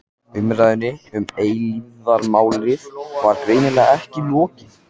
Umræðunni um eilífðarmálið var greinilega ekki lokið.